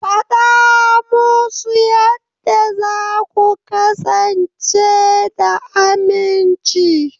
Faɗa musu yadda za ku kasance da aminci.